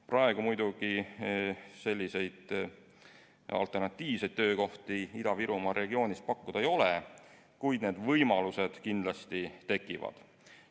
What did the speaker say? Praegu muidugi selliseid alternatiivseid töökohti Ida-Virumaa regioonis pakkuda ei ole, kuid need võimalused kindlasti tekivad.